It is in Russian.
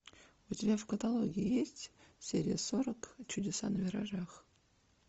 у тебя в каталоге есть серия сорок чудеса на виражах